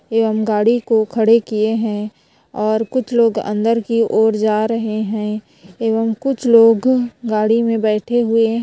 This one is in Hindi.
एवं गाड़ी को खड़ा किये है और कुछ लोग अन्दर की ओर जा रहे है एवं कुछ लोग गाड़ी मे बैठे हुए है।